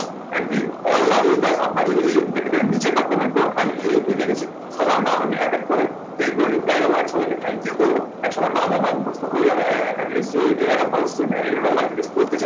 and all love you guy আপনারা যদি এই episode টা দেখে থাকেন, নিচে একটা comment করুন, আমি এই অবধি দেখেছি। সবার নাম আমি এক এক করে দেখবো reply দেবো। সবাইকে thank you করবো। এবং সবার নাম আমার মুখস্ত হয়ে যাবে আহ at least যে এনারা ভালো students and এরা যদি life এ কিছু করতে চায়।